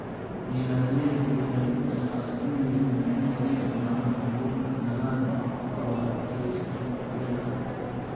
Beeralaydu waxay ku khasban yihiin inay isticmaalaan abuurka dalagga oo adkaysta kuleylka.